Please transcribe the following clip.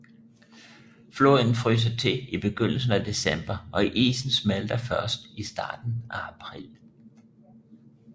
Floden fryser til i begyndelsen af december og isen smelter først i starten af april